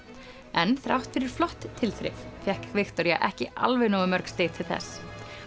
en þrátt fyrir flott tilþrif fékk Viktoría ekki alveg nógu mörg stig til þess